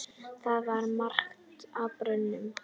Það var margt á barnum.